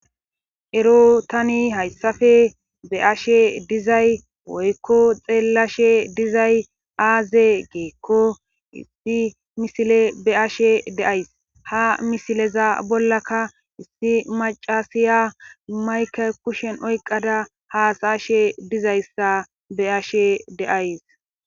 ero tani hayssafe be ashe dizay woykko xeelashe dizay aaze gikko issi misile be ashe deays ha misileza bollaka issi macasiya mayke kushen oyqada haasa ashe dizayssa be7ashe de,ays